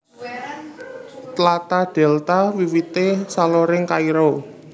Tlatah Dèlta wiwité saloring Kairo